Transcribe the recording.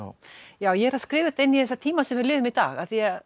ég skrifa þetta inn í þessa tíma sem við lifum í dag af því að